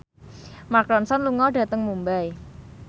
Mark Ronson lunga dhateng Mumbai